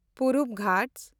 ᱯᱩᱨᱩᱵ ᱜᱷᱟᱴᱥ